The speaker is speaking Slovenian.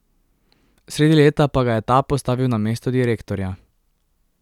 Sredi leta pa ga je ta postavil na mesto direktorja.